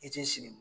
I ti sigi